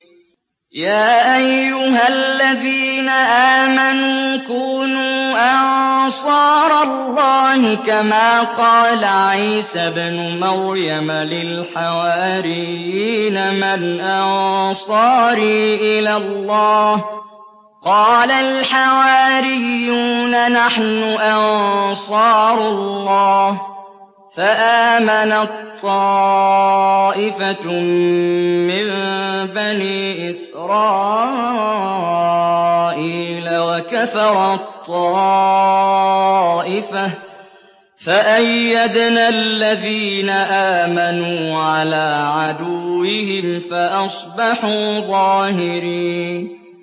يَا أَيُّهَا الَّذِينَ آمَنُوا كُونُوا أَنصَارَ اللَّهِ كَمَا قَالَ عِيسَى ابْنُ مَرْيَمَ لِلْحَوَارِيِّينَ مَنْ أَنصَارِي إِلَى اللَّهِ ۖ قَالَ الْحَوَارِيُّونَ نَحْنُ أَنصَارُ اللَّهِ ۖ فَآمَنَت طَّائِفَةٌ مِّن بَنِي إِسْرَائِيلَ وَكَفَرَت طَّائِفَةٌ ۖ فَأَيَّدْنَا الَّذِينَ آمَنُوا عَلَىٰ عَدُوِّهِمْ فَأَصْبَحُوا ظَاهِرِينَ